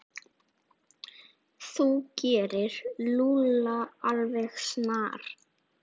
Þú gerir Lúlla alveg snar,